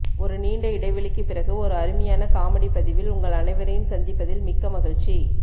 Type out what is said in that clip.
ஒரு நீண்ட இடைவெளிக்கு பிறகு ஒரு அருமையான காமெடி பதிவில் உங்கள் அனைவரையும் சந்திப்பதில் மிக்க மகிழ்ச்சி